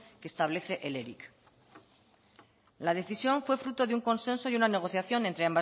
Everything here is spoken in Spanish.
que establece el eric la decisión fue fruto de un consenso y una negociación entre